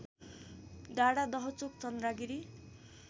डाँडा दहचोक चन्द्रागिरी